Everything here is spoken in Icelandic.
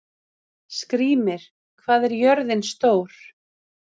Skrýmir, hvað er jörðin stór?